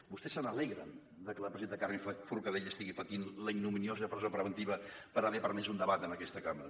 vostès se n’alegren de que la presidenta carme forcadell estigui patint la ignominiosa presó preventiva per haver permès un debat en aquesta cambra